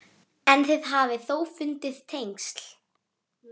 En þið hafið þó fundið tengsl?